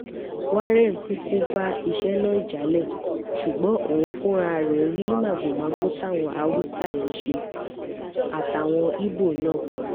warren kúkú bá iṣẹ́ náà jalè ṣùgbọ́n òun fúnra ẹ̀ rí màgòmágó táwọn haúsá yìí ṣe àtàwọn ibo náà